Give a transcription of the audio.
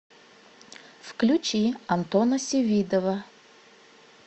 включи антона севидова